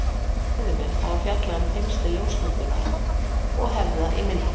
Fræðimenn hafa fjallað um tengsl ljósmyndunar og hefða í myndlist.